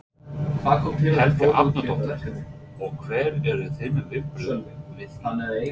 Helga Arnardóttir: Og hver eru þín viðbrögð við því?